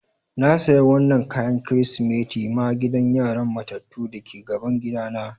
N'na sayan wanan kayan kristimeti ma gidan yaran matatu da ke gaban gida na.